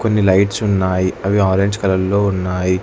కొన్ని లైట్స్ ఉన్నాయి అవి ఆరెంజ్ కలర్లో ఉన్నాయి.